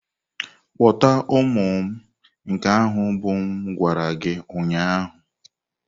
Kpọta ụmụ m nke ahụ bụ m gwara gị ụnyahụ.